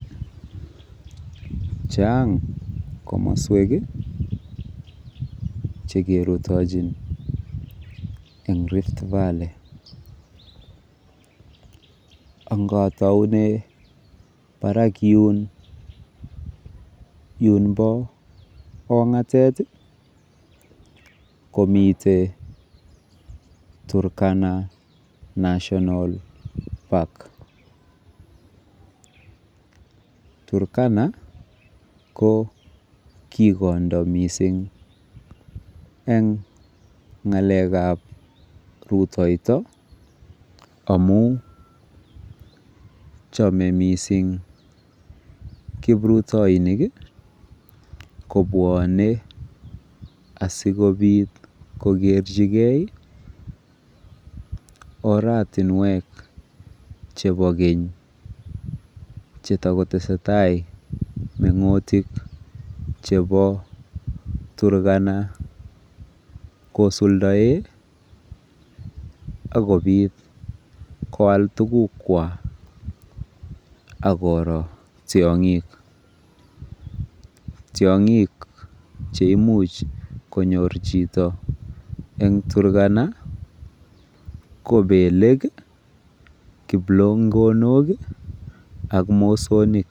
Chang' komaswek che kerutachin eng' Rift Valley. Anga taune parak yun, yun pa kong'atet komiten Turkana National Park. Turkana ko kikondo missing' eng' ng'alek ap rutaito amu chame missing' kiprutainik kopwane asikopit kokerchigei oratunwek chepo keny che tako tese tai meng'utik chepa Turkana kosuldae akopit koal tugukwak ak koro tiang'ik. Tiang'ik che imuch konyor chito eng' Turkana ko peleek, kiplongonok i, ak mosonik.